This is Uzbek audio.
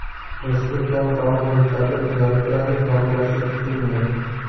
Respublikaning tog‘li hududlarida o‘zgarib turadi, yog‘ingarchilik kutilmaydi.